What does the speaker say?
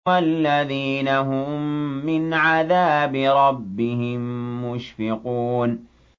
وَالَّذِينَ هُم مِّنْ عَذَابِ رَبِّهِم مُّشْفِقُونَ